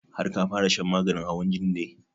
Har ka fara shan maganin hawan jinin ne?